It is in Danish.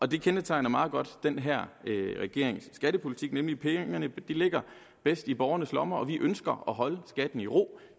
det kendetegner meget godt den her regerings skattepolitik nemlig at pengene ligger bedst i borgernes lommer og vi ønsker at holde skatten i ro